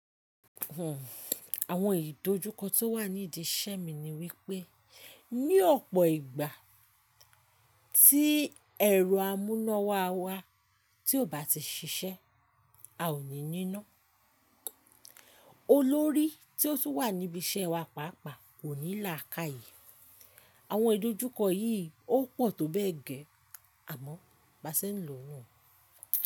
Àwọn ìdojúkọ tó wà nídi iṣẹ́ mi ni wípé ní ọ̀pọ̀ ìgbà tí ẹ̀rọ amúnáwá wa tí ò bá ti ṣiṣẹ́, a ò ní níná. Olórí tí ó tún wà níbi iṣẹ́ wa pàápàá kò ní làákàyè. Àwọn ìdojúkọ yìí ó pò tó bẹ́ẹ̀ gẹ́ àmọ́ baá ṣe ń lò nu.